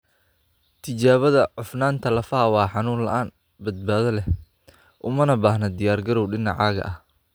Tijaabada cufnaanta lafaha waa xanuun la'aan, badbaado leh, umana baahna diyaargarow dhinacaaga ah.